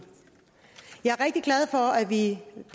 jeg er rigtig glad for at vi